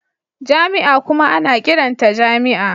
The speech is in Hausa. Jami'a kuma ana ƙiranta jami'a